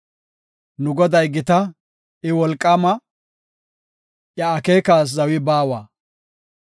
Nu Goday gita; I wolqaama; iya akeekas zawi baawa.